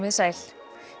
þið sæl